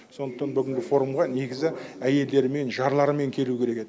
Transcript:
сондықтан бүгінгі форумға негізі әйелдерімен жарларымен келу керек еді